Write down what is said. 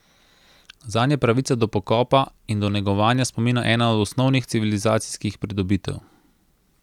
Zanj je pravica do pokopa in do negovanja spomina ena od osnovnih civilizacijskih pridobitev.